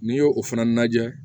N'i y'o o fana lajɛ